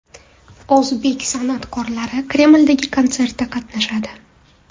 O‘zbek san’atkorlari Kremldagi konsertda qatnashadi.